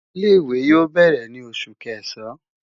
Ile-iwe yoo bẹrẹ ni Oṣu Kẹsan